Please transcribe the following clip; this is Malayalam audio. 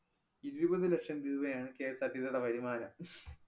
ഇരുപതു ലക്ഷം രൂപയാണ് KSRTC യുടെ വരുമാനം